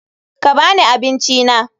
Ka ba ni abincina.